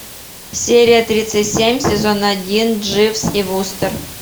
серия тридцать семь сезон один дживс и вустер